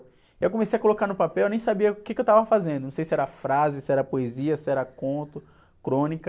E eu comecei a colocar no papel, eu nem sabia o que eu estava fazendo, não sei se era frase, se era poesia, se era conto, crônica...